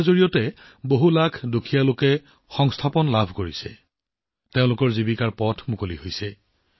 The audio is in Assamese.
ইয়াৰ বাবে লাখ লাখ দৰিদ্ৰই কৰ্মসংস্থাপন লাভ কৰিছে তেওঁলোকৰ জীৱিকা অটুট আছে